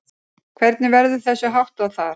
Hvernig verður þessu háttað þar?